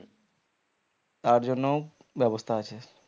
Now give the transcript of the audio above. তার জন্যও ব্যবস্থা আছে